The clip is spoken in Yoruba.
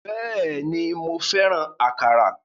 Bẹ́ẹ̀ni, mo fẹ́ràn àkàrà.